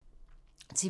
TV 2